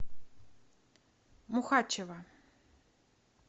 мухачева